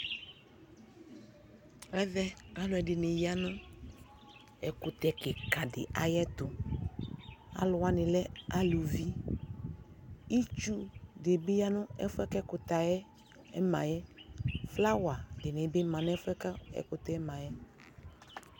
Ɛvɛ alʋɛdɩnɩ ya nʋ ɛkʋtɛ kɩkadɩ ayɛtʋ Alʋwanɩ lɛ aluvi Itsudɩ bɩ ya nʋ ɛfʋ yɛ bua kʋ ɛkʋtɛ yɛ ma yɛ Flowerdɩnɩ bɩ ma n'ɛfʋ yɛ k'ɛkʋtɛ ma yɛ